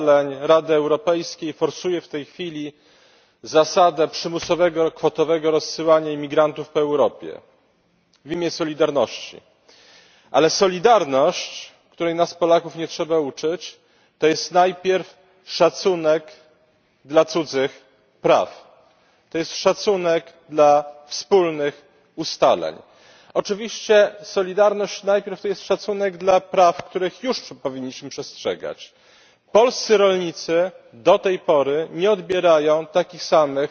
Pani Przewodnicząca! Komisja Europejska z pogwałceniem ustaleń Rady Europejskiej forsuje w tej chwili zasadę przymusowego i kwotowego rozsyłania imigrantów po Europie w imię solidarności ale solidarność, której nas Polaków nie trzeba uczyć, to jest najpierw szacunek dla cudzych praw. To jest szacunek dla wspólnych ustaleń. Oczywiście solidarność to jest najpierw szacunek dla praw, których już powinniśmy przestrzegać. Polscy rolnicy do tej pory nie odbierają takich samych